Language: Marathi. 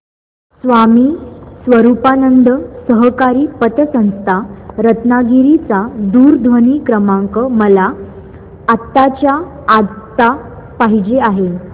स्वामी स्वरूपानंद सहकारी पतसंस्था रत्नागिरी चा दूरध्वनी क्रमांक मला आत्ताच्या आता पाहिजे आहे